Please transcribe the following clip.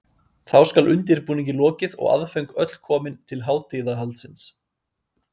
Þá skal undirbúningi lokið og aðföng öll komin til hátíðahaldsins.